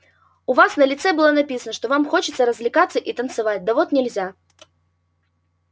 у вас на лице было написано что вам хочется развлекаться и танцевать да вот нельзя